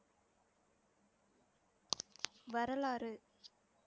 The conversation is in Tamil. வரலாறு